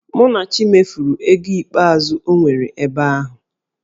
Munachi mefuru ego ikpeazụ o nwere ebe ahụ